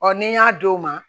ni n y'a d'o ma